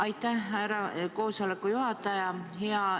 Aitäh, härra koosoleku juhataja!